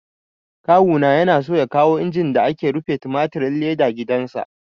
Kawu na yana so ya kawo injin da ake rufe tumatirin leda gidan sa